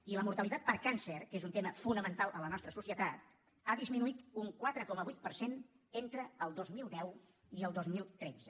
i la mortalitat per càncer que és un tema fonamental a la nostra societat ha disminuït un quatre coma vuit per cent entre el dos mil deu i el dos mil tretze